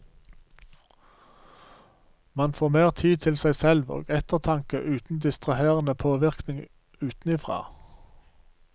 Man får mer tid til seg selv og ettertanke uten distraherende påvirkning utenfra.